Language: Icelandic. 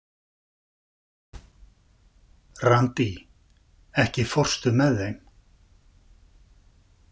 Randí, ekki fórstu með þeim?